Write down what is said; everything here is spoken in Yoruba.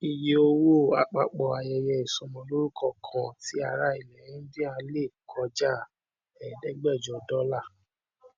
ìye owó apapọ ayẹyẹ ìsọmọlórúkọ kan tí ará ilẹ india le kọjá ẹẹdẹgbẹjọ dólà